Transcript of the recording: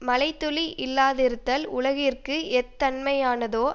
மழை துளி இல்லாதிருத்தல் உலகத்திற்கு எத்தன்மையானதோ